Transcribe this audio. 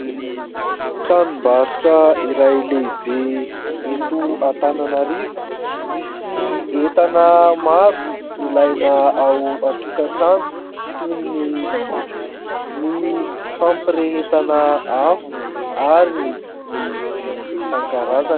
Tranom-barotra iray lehibe eto Antananarivo misy entana maro ilaina ao an-tokatrano toy ny : sotro, ny fampirehetana afo ary ny vy isan-karazany.